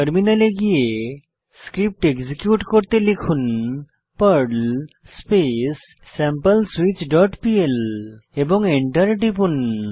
টার্মিনালে গিয়ে script execute করতে লিখুন Perl space sample switch dot PL এবং এন্টার টিপুন